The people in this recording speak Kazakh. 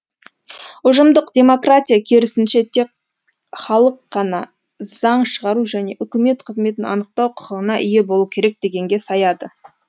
ұжымдық демократия керісінше тек халық қана заң шығару және үкімет қызметін анықтау құқығына ие болуы керек дегенге саяды